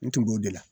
N tun b'o de la